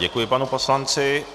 Děkuji panu poslanci.